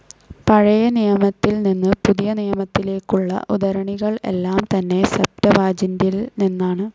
പഴയനിയമത്തിൽ നിന്ന് പുതിയനിയമത്തിലേക്കുള്ള ഉദ്ധരണികൾ എല്ലാം തന്നെ സെപ്റ്റവാജിൻ്റിൽ നിന്നാണ്.